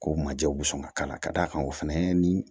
Ko manjɛw bɛ sɔn ka k'a la ka d'a kan o fɛnɛ ni